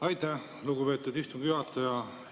Aitäh, lugupeetud istungi juhataja!